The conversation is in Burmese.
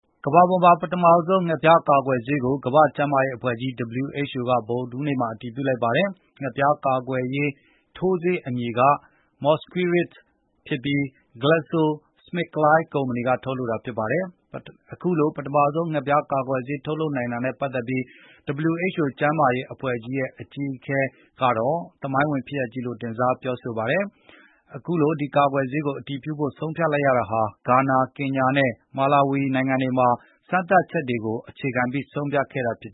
ကမ္ဘာပေါ်မှာ ပထမဦးဆုံး ငှက်ဖျားကာကွယ်ဆေးကို ကမ္ဘာ့ကျန်းမာရေးအဖွဲ့ကြီး WHO က ဗုဒ္ဓဟူးနေ့မှာ အတည်ပြု လိုက်ပါတယ်။ ဒီ ငှက်ဖျားကာကွယ်ရေး ထိုးဆေးရဲ့အမည်က Mosquirix ဖြစ်ပြီး၊ Glaxo Smith Kline ကုမ္ပဏီက ထုတ်လုပ်တာဖြစ်ပါတယ်။ အခုလို ပထမဆုံး ငှက်ဖျားကာကွယ်ဆေး ထုတ်လုပ်နိုင်တာနဲ့ပတ်သက်ပြီး WHO အဖွဲ့ရဲ့ အကြီးအကဲ Tedros ကတော့ "သမိုင်းဝင်ဖြစ်ရပ်ကြီး" လို့ တင်စား ပြောဆို လိုက်ပါတယ်။ အခုလို ဒီကာကွယ်ဆေးကို အတည်ပြုဖို့ ဆုံးဖြတ်ရတာဟာ ဂါနာ ၊ ကင်ညာ နဲ့ မာလာဝီ နိုင်ငံတွေမှာ စမ်းသပ်လေ့လာချက်တွေအပေါ် အခြေခံ ဆုံးဖြတ်ခဲ့တာ ဖြစ်